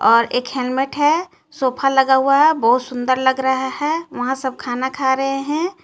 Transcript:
और एक हेलमेट हे सोफा लगा हुआ हे बहोत सुन्दर लग रहा हे वहां सब खाना खा रहे हे.